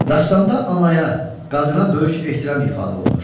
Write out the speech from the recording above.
Dastanda anaya, qadına böyük ehtiram ifadə olunur.